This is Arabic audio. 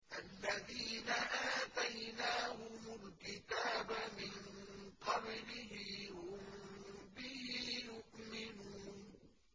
الَّذِينَ آتَيْنَاهُمُ الْكِتَابَ مِن قَبْلِهِ هُم بِهِ يُؤْمِنُونَ